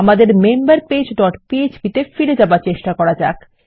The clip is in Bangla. আমাদের মেম্বার পেজ ডট পিএচপি তে ফিরে যাবার চেষ্টা করা যাক